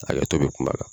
Hakɛto bɛ kuma kan